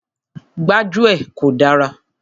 Gbájúẹ̀ kò dára.